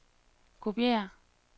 kopiér